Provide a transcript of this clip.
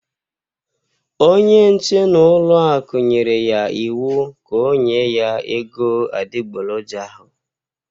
Onye nche n'ọlụaku nyere ya iwu ka ọ nye ya ego adịgboloja ahụ